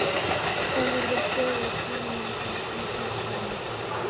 Þá verður stöðug sýrumyndun í sýklunni.